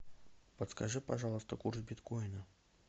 подскажи пожалуйста курс биткоина